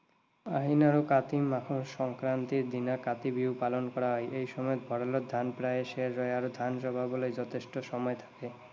আহিন আৰু কাতি মাহৰ সংক্ৰান্তিৰ দিনা কাতি বিহু পালন কৰা হয়। এই সময়ত ভঁৰালত ধান প্ৰায় শেষ হয় আৰু ধান চপাবলৈ যথেষ্ট সময় থাকে।